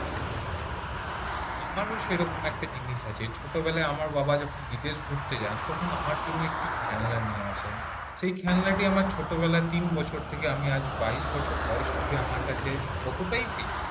আমারও সেরকম একটা জিনিস আছে ছোটবেলায় আমার বাবা যখন বিদেশ ঘুরতে যান তখন আমার জন্য একটি খেলনা নিয়ে আসেন সেই খেলনাটি আমার ছোট বেলায় তিন বছর থেকে আমি আজ আমার বাইশ বছর বয়স অবধি অতটাই প্রিয়